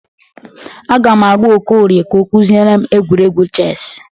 Aga m agwa Okorie ka ọ kụziere m egwuregwu ches.